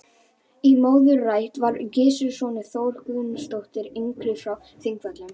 Í móðurætt var Gissur sonur Þóru Guðmundsdóttur yngri frá Þingvöllum.